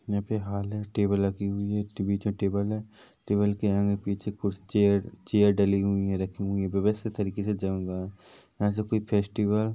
यहाँ पे हॉल हैं टेबल लगी हुई हैं बीच मे टेबल हैं टेबल के आगे पीछे कुछ चेयर चेयर डली हुई हैं रखी हुई हैं व्यवस्थित तरीके से जैसे कोई फेस्टिवल --